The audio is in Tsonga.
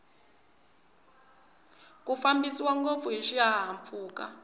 ku fambiwa ngopfu hiswi hahampfuka